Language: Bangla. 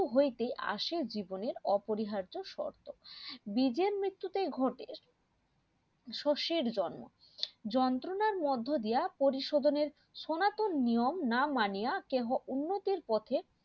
মৃত্যু হইতে আসে জীবনের অপরিহার্য শর্ত বীজের মৃত্যু তেই ঘটে শস্যের জন্ম যন্ত্রণার মধ্য দিয়া পরিশোধনের সনাতন নিয়ম না মানিয়া কেহ উন্নতির পথে